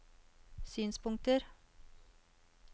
synspunkter